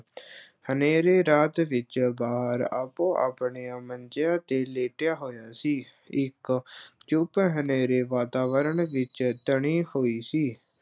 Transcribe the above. ਹਨੇਰੀ ਰਾਤ ਵਿੱਚ ਬਾਹਰ ਆਪੋ ਆਪਣੀਆਂ ਮੰਜੀਆਂ ਤੇ ਲੇਟਿਆ ਹੋਇਆ ਸੀ, ਇੱਕ ਚੁੱਪ ਹਨੇਰੇ ਵਾਤਾਵਰਨ ਵਿੱਚ ਤਣੀ ਹੋਈ ਸੀ।